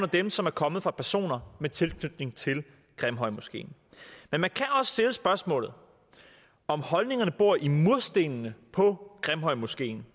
dem som er kommet fra personer med tilknytning til grimhøjmoskeen men man kan også stille spørgsmålet om holdningerne bor i murstenene på grimhøjmoskeen